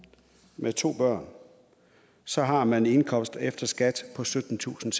med to børn så har man en indkomst efter skat på syttentusinde